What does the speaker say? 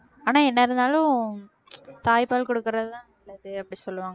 ஆனா என்ன இருந்தாலும் தாய்ப்பால் கொடுக்கிறது தான் நல்லது அப்படி சொல்லுவாங்க